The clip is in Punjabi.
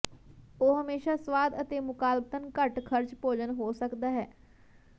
ਉਹ ਹਮੇਸ਼ਾ ਸਵਾਦ ਅਤੇ ਮੁਕਾਬਲਤਨ ਘੱਟ ਖਰਚ ਭੋਜਨ ਹੋ ਸਕਦਾ ਹੈ